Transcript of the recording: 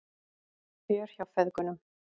Fjör hjá feðgunum